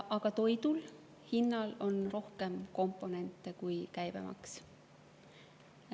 Aga toidu hinnal on rohkem komponente kui käibemaks.